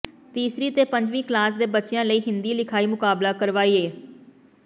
ਤੀਸਰੀ ਤੇ ਪੰਜਵੀਂ ਕਲਾਸ ਦੇ ਬੱਚਿਆਂ ਲਈ ਹਿੰਦੀ ਲਿਖਾਈ ਮੁਕਾਬਲਾ ਕਰਵਇਆ